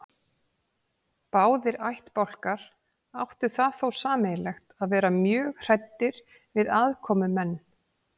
Báðir ættbálkar áttu það þó sameiginlegt að vera mjög hræddir við aðkomumenn.